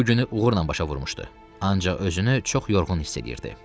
Bu günü uğurla başa vurmuşdu, ancaq özünü çox yorğun hiss edirdi.